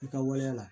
I ka waleya la